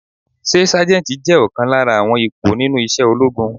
Ṣé Sájẹ́ntì je ọ̀kan lára àwọn ipò nínú isẹ́ ológun?